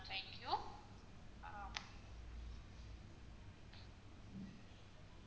thank you ah